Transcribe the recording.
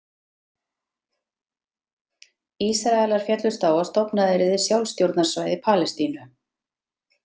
Ísraelar féllust á að stofnað yrði sjálfstjórnarsvæði Palestínu.